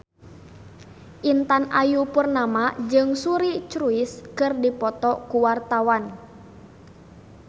Intan Ayu Purnama jeung Suri Cruise keur dipoto ku wartawan